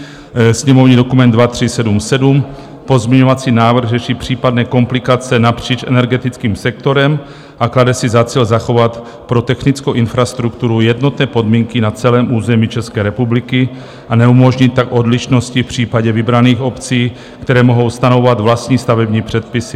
Sněmovní dokument 2377, pozměňovací návrh řeší případné komplikace napříč energetickým sektorem a klade si za cíl zachovat pro technickou infrastrukturu jednotné podmínky na celém území České republiky a neumožnit tak odlišnosti v případě vybraných obcí, které mohou stanovovat vlastní stavební předpisy.